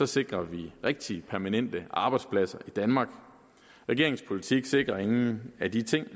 sikrer rigtige permanente arbejdspladser i danmark regeringens politik sikrer ingen af de ting